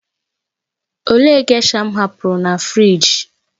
Olee gésha m hapụrụ na fịrij?